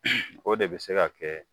O de bɛ se ka kɛ